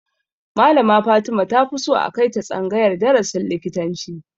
Malama Fatima ta fi so a kai ta tsangayar darasin likitanci